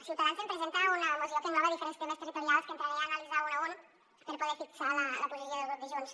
ciutadans presenta una moció que engloba diferents temes territorials que entraré a analitzar un a un per poder fixar la posició del grup de junts